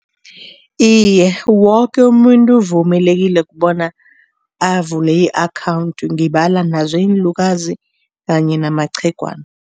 Iye, woke umuntu uvumelekile bona avule i-akhawundi, ngibala nazo iinlukazi kanye namaqhegwana.